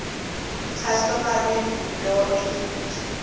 customary law in